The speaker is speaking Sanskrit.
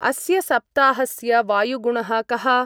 अस्य सप्ताहस्य वायुगुणः कः?